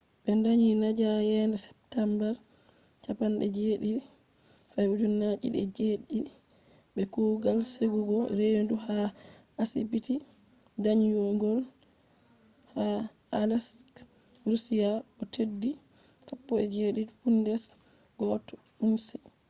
ɓe danyi nadia yende september 17 2007 be kugal sekugo reedu ha asibiti danyungol ha aleisk russia o’ teddi 17 pounds 1 ounce